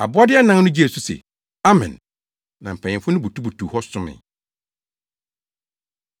Abɔde anan no gyee so se, “Amen!” Na mpanyimfo no butubutuw hɔ somee.